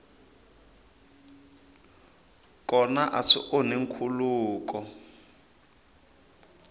kona a swi onhi nkhuluko